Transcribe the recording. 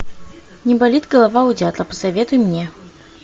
не болит голова у дятла посоветуй мне